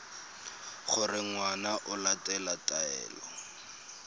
gore ngwana o latela taelo